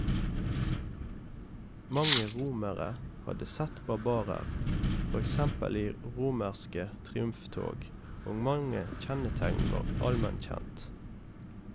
Mange romere hadde sett barbarer, for eksempel i romerske triumftog, og mange kjennetegn var allment kjent.